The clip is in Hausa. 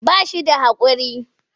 Ba shi da haƙuri.